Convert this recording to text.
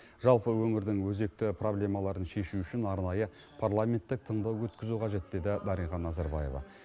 жалпы өңірдің өзекті проблемаларын шешу үшін арнайы парламенттік тыңдау өткізу қажет деді дариға назарбаева